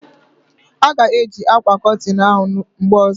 A ga e ji akwa kotin ahụ mgbe ozo